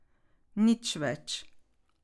Nič več.